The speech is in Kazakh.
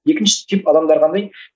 екінші тип адамдар қандай